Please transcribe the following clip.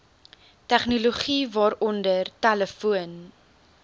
tegnologie waaronder telefoon